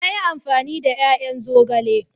Na yi amfani da ya'yan zogale.